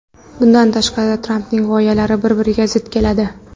Bundan tashqari, Trampning g‘oyalari bir-biriga zid keladi.